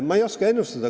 Ma ei oska ennustada.